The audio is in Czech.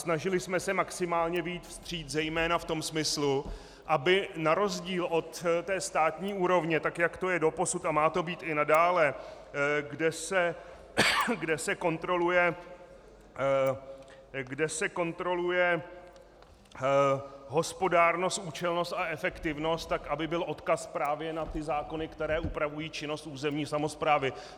Snažili jsme se maximálně vyjít vstříc zejména v tom smyslu, aby na rozdíl od té státní úrovně, tak jak to je doposud a má to být i nadále, kde se kontroluje hospodárnost, účelnost a efektivnost, tak aby byl odkaz právě na ty zákony, které upravují činnost územní samosprávy.